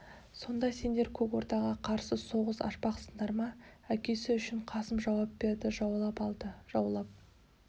сонда сендер көк ордаға қарсы соғыс ашпақсыңдар ма әкесі үшін қасым жауап берді жаулап алды жаулап